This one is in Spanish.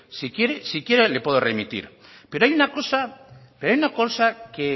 si quiere le puedo remitir pero hay una cosa que